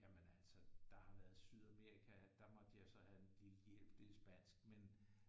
Jamen altså der har været Sydamerika der måtte jeg så have en lille hjælp det er spansk men